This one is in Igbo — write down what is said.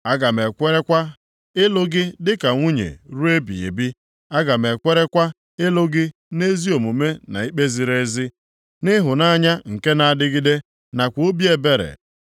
Aga m ekwerekwa ịlụ gị dịka nwunye ruo ebighị ebi; aga m ekwerekwa ịlụ gị nʼezi omume na ikpe ziri ezi, nʼịhụnanya nke na-adịgide, nakwa obi ebere.